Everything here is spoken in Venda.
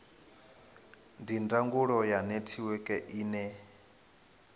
ndi ndangulo ya netiweke ine